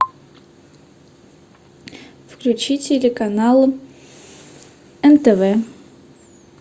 включи телеканал нтв